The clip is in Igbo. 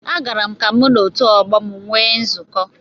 Agara m ka mụ na otu ọgbọ m nwee nzukọ